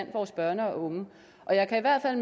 vores børn og unge og jeg kan i hvert fald